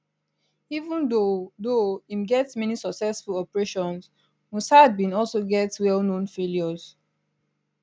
even though though em get many successful operations mossad bin also get well known failures